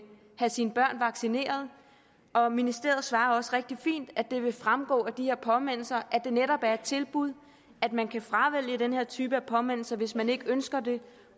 få sine børn vaccineret og ministeriet svarer også rigtig fint at det vil fremgå af de her påmindelser at det netop er et tilbud at man kan fravælge den her type af påmindelser hvis man ikke ønsker det